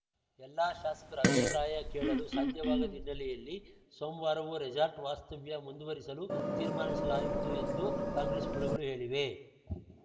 ಎಲ್ಲಾ ಶಾಸಕರ ಅಭಿಪ್ರಾಯ ಕೇಳಲು ಸಾಧ್ಯವಾಗದ ಹಿನ್ನೆಲೆಯಲ್ಲಿ ಸೋಮ್ವಾರವೂ ರೆಸಾರ್ಟ್‌ ವಾಸ್ತವ್ಯ ಮುಂದುವರೆಸಲು ತೀರ್ಮಾನಿಸಲಾಯಿತು ಎಂದು ಕಾಂಗ್ರೆಸ್‌ ಮೂಲಗಳು ಹೇಳಿವೆ